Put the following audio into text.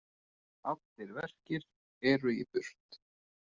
Allir verkir eru í burt.